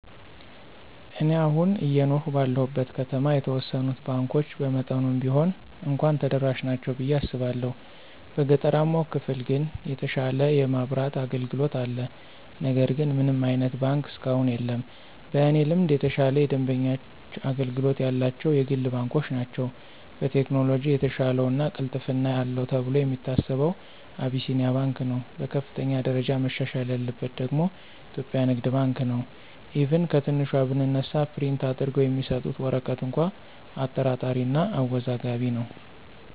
እኔ አሁን አየኖርሁ ባለሁበት ከተማ የተወሰኑት ባንኮች በመጠኑም ቢሆን እንኳ ተደራሽ ናቸው ብየ አስባለሁ። በገጠራማው ክፍል ግን የተሻለ የማብራት አገልግሎት አለ ነገር ግን ምንም አይነት ባንክ እስካሁን የለም። በእኔ ልምድ የተሻለ የደንበኞች አገልግሎት ያላቸው የግል ባንኮች ናቸው። በቴክኖሎጅ የተሻለው እና ቅልጥፍና አለው ተብሎ የሚታሰበው አቢሲንያ ባንክ ነው። በከፍተኛ ደረጃ መሻሻል ያለበት ደግሞ ኢትዮጵያ ንግድ ባንክ ነው፤ ኢቭን ከትንሿ ብንነሳ ፕሪንት አድርገው የሚሰጡት ወረቀት እንኳ አጠራጣሪ እና አወዛጋቢ ነው።